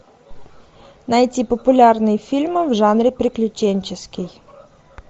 найти популярные фильмы в жанре приключенческий